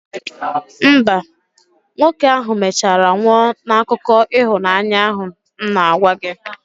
mba, nwoke ahụ mechara nwụọ n'akụkọ ịhụnanya ahụ m na-agwa gị